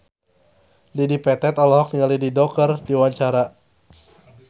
Dedi Petet olohok ningali Dido keur diwawancara